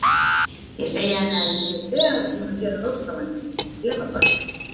Ég segi henni að ég sé þegar búin að gera ráðstafanir til að gefa barnið.